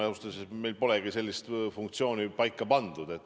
Ausalt öeldes, meil polegi sellist funktsiooni paika pandud.